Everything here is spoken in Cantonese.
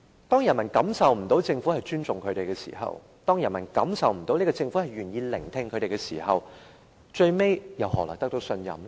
當人民感覺不到政府尊重他們，感覺不到政府願意聆聽民意的時候，最終政府怎會獲得信任呢？